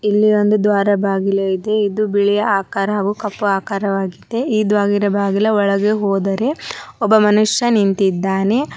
ಇಲ್ಲಿ ಒಂದು ದ್ವಾರ ಬಾಗಿಲು ಐತೆ ಇದು ಬಿಳಿ ಆಕಾರ ಹಾಗು ಕಪ್ಪು ಆಕಾರವಾಗಿದೆ ಈ ದ್ವಾರ ಬಾಗಿಲ ಒಳಗೆ ಹೋದರೆ ಒಬ್ಬ ವ್ಯಕ್ತಿ ನಿಂತಿದ್ದಾನೆ.